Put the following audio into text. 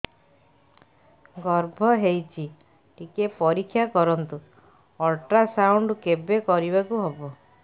ଗର୍ଭ ହେଇଚି ଟିକେ ପରିକ୍ଷା କରନ୍ତୁ ଅଲଟ୍ରାସାଉଣ୍ଡ କେବେ କରିବାକୁ ହବ